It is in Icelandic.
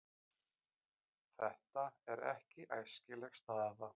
Þetta er ekki æskileg staða.